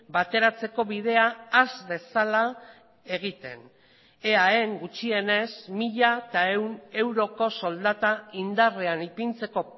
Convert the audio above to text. bateratzeko bidea has dezala egiten eaen gutxienez mila ehun euroko soldata indarrean ipintzeko